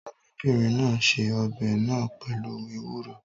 Arábìnrin náà se ọbẹ̀ náà pẹ̀lú ewuro